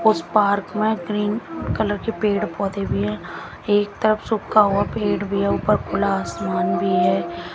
उस पार्क में green colour के पेड़ पौधे भी है एक तरफ सूखा हुआ पेड़ भी ऊपर खुला आसमान भी है।